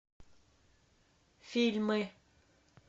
фильмы